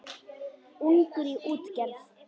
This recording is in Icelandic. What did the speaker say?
Ungur í útgerð